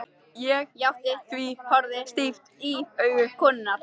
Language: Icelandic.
Ég játti því, horfði stíft í augu konunnar.